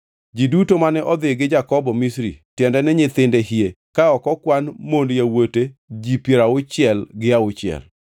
Ji duto mane odhi gi Jakobo Misri, tiende ni nyithinde hie ka ok okwan mond yawuote ji piero auchiel gi auchiel.